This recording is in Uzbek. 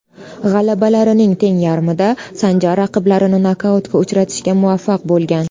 G‘alabalarining teng yarmida Sanjar raqiblarini nokautga uchratishga muvaffaq bo‘lgan.